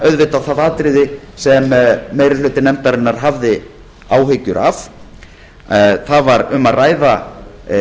auðvitað það atriði sem meiri hluti nefndarinnar hafði áhyggjur af það var um að ræða